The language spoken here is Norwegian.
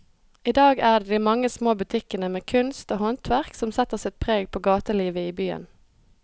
I dag er det de mange små butikkene med kunst og håndverk som setter sitt preg på gatelivet i byen.